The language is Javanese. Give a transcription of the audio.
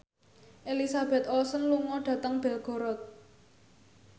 Elizabeth Olsen lunga dhateng Belgorod